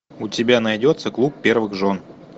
у тебя найдется клуб первых жен